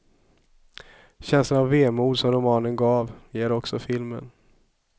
Känslan av vemod som romanen gav, ger också filmen.